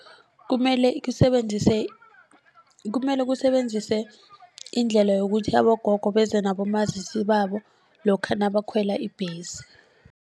Kumele kusebenzise kumele kusebenzise indlela yokuthi abogogo beze nabomazisi babo lokha nabakhwela ibhesi.